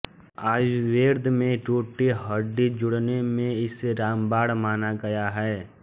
आयुर्वेद में टूटी हड्डी जोड़ने में इसे रामबाण माना गया है